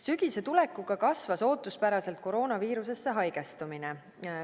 Sügise tulekuga kasvas ootuspäraselt koroonaviirusesse haigestumine.